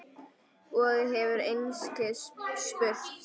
Og hefur einskis spurt.